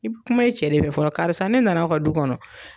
I bɛ kuma i cɛ de fɛ fɔlɔ, karisa ne nana aw ka du kɔnɔ.